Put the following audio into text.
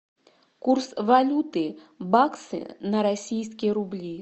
курс валюты баксы на российские рубли